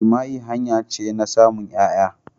Jima'i hanya ce na samun ƴaya.